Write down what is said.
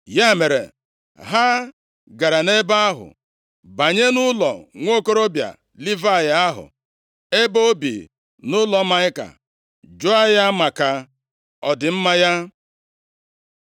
Ya mere, ha gara nʼebe ahụ, banye nʼụlọ nwokorobịa Livayị ahụ, ebe o bi nʼụlọ Maịka, jụọ ya maka ọdịmma ya.